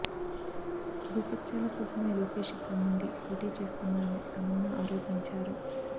భూకబ్జాల కోసమే లోకేష్ ఇక్కడ నుండి పోటీ చేస్తున్నారని తమన్నా ఆరోపించారు